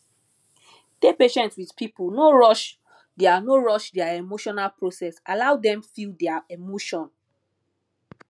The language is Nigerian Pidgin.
dey patient with pipo no rush their no rush their emotional process allow dem feel their emotion